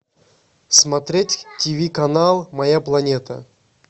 смотреть тв канал моя планета